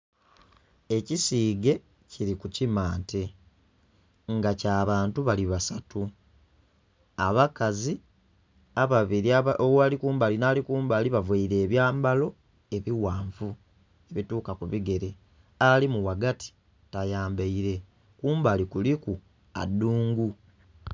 Ekisiige kili ku kimante nga kya bantu bali basatu abakazi ababiri ali kumbali nhi kumbali bavaire enyambalo ebighanvu ebituka ku bigere alimu ghagati tayambaire kumbali kuliku adhuungu.